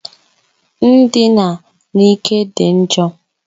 Ndina n'ike dị njọ.